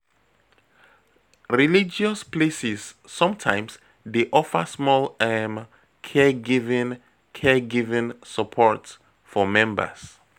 Religious places sometimes dey offer small um caregiving caregiving support for members